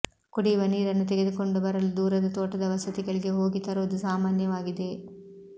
ಕುಡಿಯುವ ನೀರನ್ನು ತಗೆದುಕೊಂಡು ಬರಲು ದೂರದ ತೋಟದ ವಸತಿಗಳಿಗೆ ಹೋಗಿ ತರುವುದು ಸಾಮಾನ್ಯವಾಗಿದೆ